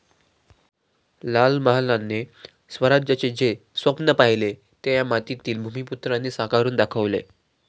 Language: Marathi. लाल महालाने स्वराज्याचे जे स्वप्न पहिले ते या मातीतील भूमिपुत्रांनी साकारून दाखवले.